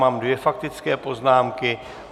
Mám dvě faktické poznámky.